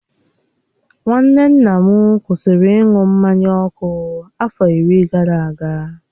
Nwanne nna m kwụsịrị ịṅụ mmanya ọkụ afọ iri gara aga.